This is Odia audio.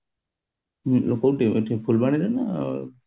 କୋଉଠି ଏଠି ଫୁଲବାଣୀ ରେ ନା କୋଉଠି